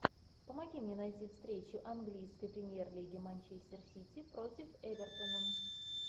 помоги мне найти встречу английской премьер лиги манчестер сити против эвертона